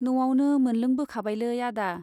न'आवनो मोनलोंबोखाबायलै आदा।